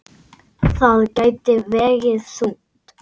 Það gæti vegið þungt.